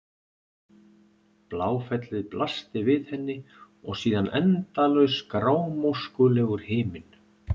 Bláfellið blasti við henni og síðan endalaus grámóskulegur himinninn.